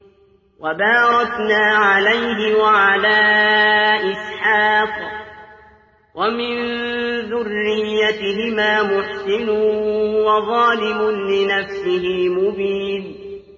وَبَارَكْنَا عَلَيْهِ وَعَلَىٰ إِسْحَاقَ ۚ وَمِن ذُرِّيَّتِهِمَا مُحْسِنٌ وَظَالِمٌ لِّنَفْسِهِ مُبِينٌ